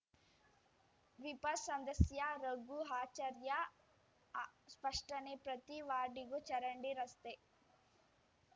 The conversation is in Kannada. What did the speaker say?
ವಿಪ ಸದಸ್ಯ ರಘು ಆಚಾರ್ಯ ಸ್ಪಷ್ಟನೆ ಪ್ರತಿ ವಾರ್ಡಿಗೂ ಚರಂಡಿ ರಸ್ತೆ